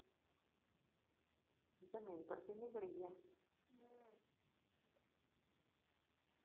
જમી ને પછી નીકળી ગ્યા હમ